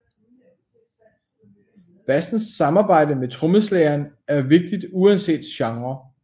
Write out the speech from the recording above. Bassens samarbejde med trommeslageren er vigtigt uanset genre